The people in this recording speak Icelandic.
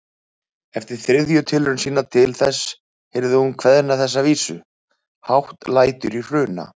Eftir þriðju tilraun sína til þess heyrði hún kveðna þessa vísu: Hátt lætur í Hruna